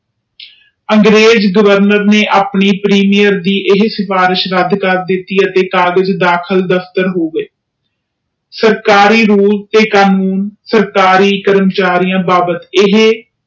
ਅੰਗਰੇਜ governor ਨੇ ਆਪਣੀ premier ਦੀ ਇਹ ਸਿਫਾਰਿਸ਼ ਰੱਦ ਕਰ ਦਿਤੀ ਅਤੇ ਕਾਗਜ ਦਾਖਲ ਦਫਤਰ ਹੋ ਗਏ ਸਰਕਾਰੀ ਰੂਲ ਤੇ ਕ਼ਾਨੂਨ ਸਰਕਾਰੀ ਕਰਮਚਾਰੀਆਂ ਬਾਬਤ ਏਹੇ